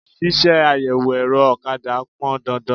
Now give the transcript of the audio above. Ṣíṣe àyẹ̀wò ẹ̀rọ ọ̀kadà pọn dandan.